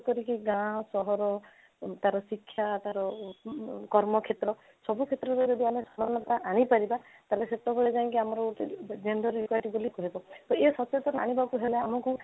କରିକି ଗାଁ ସହର ତା'ର ଶିକ୍ଷା ତା'ର ଅଂ କର୍ମ କ୍ଷେତ୍ର ସବୁ କ୍ଷେତ୍ରରେ ଯଦି ଆମେ ସମାନତା କରି ବରିବା ତାହେଲେ ସେତେବେଳେ ଯାଇକି ଆମର gender equity ବୋଲି କହିବା ତ ଏଇ ସଚେତନ ଆଣିବାକୁ ହେଲେ ଆମକୁ